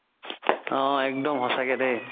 অ একদম সচাকে দেই